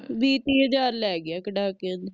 ਵੀਹ ਤਿਹ ਹਾਜ਼ਰ ਲੈ ਗਿਆ ਕੱਡਾ ਕੇ